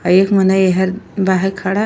एक मनइ एहर बाहिर खड़ा --